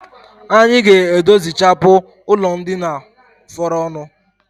Anyi ga-edozichapụ ụlọndina fọrọnụ